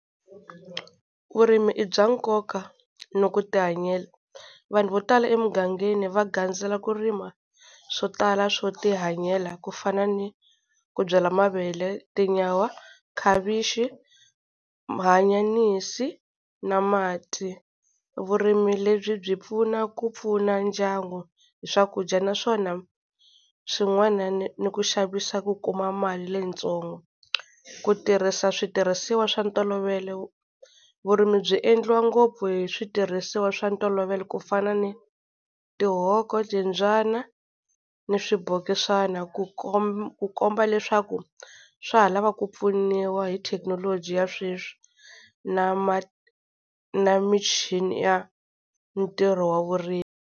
Vurimi i bya nkoka ni ku tihanyela. Vanhu vo tala emugangeni va gandzela ku rima swo tala swo tihanyela, ku fana ni ku byala mavele, tinyawa, khavichi, maanyanisi na mati. Vurimi lebyi byi pfuna ku pfuna ndyangu hi swakudya, naswona swin'wana ni ni ku xavisa ku kuma mali leyitsongo. Ku tirhisa switirhisiwa swa ntolovelo, vurimi byi endliwa ngopfu hi switirhisiwa swa ntolovelo ku fana ni tihoko, timbyana ni swibokisana ku ku komba leswaku swa ha lava ku pfuniwa hi thekinoloji ya sweswi na na michini ya ntirho wa vurimi.